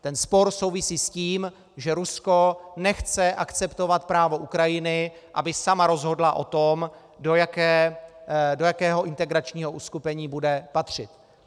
Ten spor souvisí s tím, že Rusko nechce akceptovat právo Ukrajiny, aby sama rozhodla o tom, do jakého integračního uskupení bude patřit.